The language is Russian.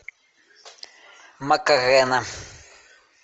макарена